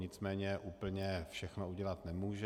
Nicméně úplně všechno udělat nemůže.